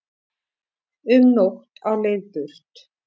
Um nótt á leið burt